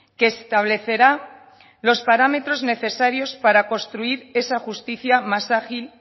que establecerá los parámetros necesarios para construir esa justicia más ágil